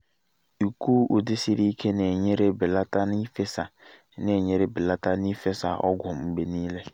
ịkụ ụdị siri ike na-enyere belata n’ifesa na-enyere belata n’ifesa ọgwụ mgbe niile